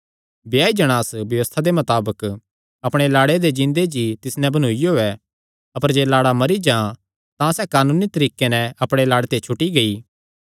ब्याई जणांस व्यबस्था दे मताबक अपणे लाड़े दे जींदे जी तिस नैं बन्नूईयो ऐ अपर जे लाड़ा मरी जां तां सैह़ कानूनी तरीके ते अपणे लाड़े ते छुटी गेई